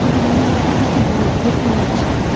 গাড়ির মদ্যে কিছু বক্স দেখতে পাচ্ছি।